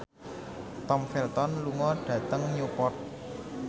Tom Felton lunga dhateng Newport